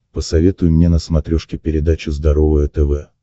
посоветуй мне на смотрешке передачу здоровое тв